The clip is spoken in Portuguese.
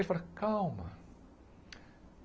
Ele falou, calma.